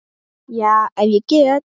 Já, ef ég get.